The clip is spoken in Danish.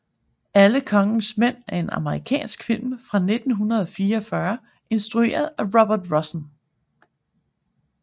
Alle kongens mænd er en amerikansk film fra 1949 instrueret af Robert Rossen